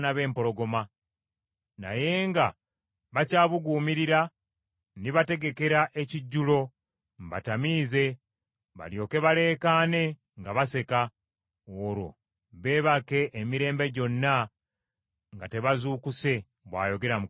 Naye nga bakyabuguumirira, ndibategekera ekijjulo, mbatamiize balyoke balekaane nga baseka, olwo beebake emirembe gyonna nga tebazuukuse,” bw’ayogera Mukama .